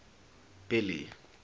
billy